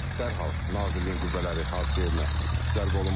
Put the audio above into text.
dərhal Nazirliyin qüvvələri hadisə yerinə cəlb olunmuşdur.